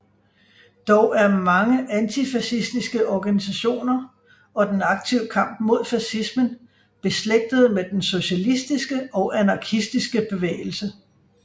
Dog er mange antifascistiske organisationer og den aktive kamp mod fascismen beslægtede med den socialistiske og anarkistiske bevægelse